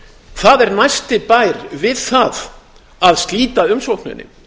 það er næsti bær við það að slíta umsókninni